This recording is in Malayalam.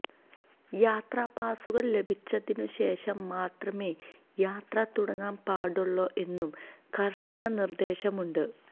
യാത്രാ പാസുകള് ലഭിച്ചതിനുശേഷം മാത്രമേ യാത്ര തുടങ്ങാന് പാടുള്ളൂ എന്നും കര്ശന നിര്ദേശമുണ്ട്